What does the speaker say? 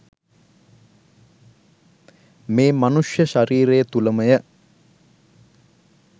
මේ මනුෂ්‍ය ශරීරය තුළ මය.